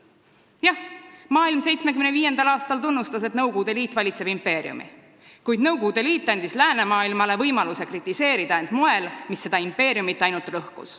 Jah, maailm tunnustas 1975. aastal Nõukogude Liidu impeeriumi, kuid Nõukogude Liit andis läänemaailmale võimaluse kritiseerida end moel, mis seda impeeriumit ainult lõhkus.